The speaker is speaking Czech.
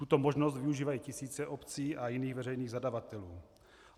Tuto možnost využívají tisíce obcí a jiných veřejných zadavatelů.